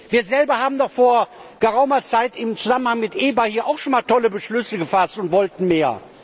Wir selber haben doch vor geraumer Zeit im Zusammenhang mit der EBA auch schon mal tolle Beschlüsse gefasst und wollten mehr.